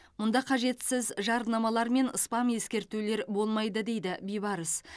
мұнда қажетсіз жарнамалар мен спам ескертулер болмайды дейді бибарыс